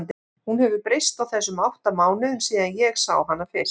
Hún hefur breyst á þessum átta mánuðum síðan ég sá hana fyrst.